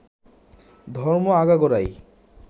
ধর্ম আগাগোড়াই